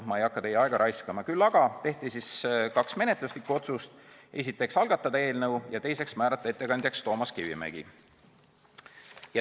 Küll aga tehti kaks menetluslikku otsust: esiteks, algatada eelnõu, ja teiseks, määrata ettekandjaks Toomas Kivimägi.